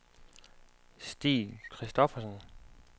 Stig Christoffersen